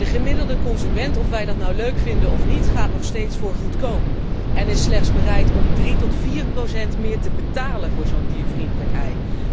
En de gemiddelde consument, of wij dat nu leuk vinden of niet, gaat nog steeds voor goedkoop en is slechts bereid om 3 tot 4 procent meer te betalen voor zo'n diervriendelijk ei.